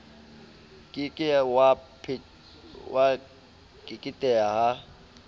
ke ke wa keketeha ha